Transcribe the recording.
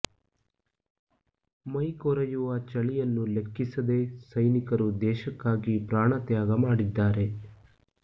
ಮೈ ಕೊರೆಯುವ ಚಳಿಯನ್ನು ಲೆಕ್ಕಿಸದೇ ಸೈನಿಕರು ದೇಶಕ್ಕಾಗಿ ಪ್ರಾಣತ್ಯಾಗ ಮಾಡಿದ್ದಾರೆ